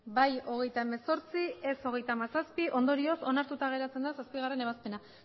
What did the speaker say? bai hogeita hemezortzi ez hogeita hamazazpi ondorioz onartuta geratzen da zazpigarrena ebazpena